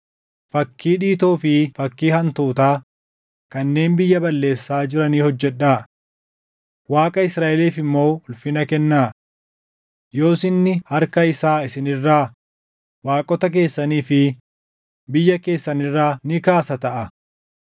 Fakkii dhiitoo fi fakkii hantuutaa kanneen biyya balleessaa jiranii hojjedhaa; Waaqa Israaʼeliif immoo ulfina kennaa. Yoos inni harka isaa isin irraa, waaqota keessanii fi biyya keessan irraa ni kaasa taʼa.